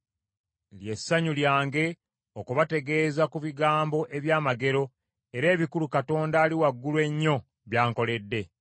Lye ssanyu lyange okubategeeza ku bigambo eby’amagero era ebikulu Katonda Ali Waggulu Ennyo byankoledde.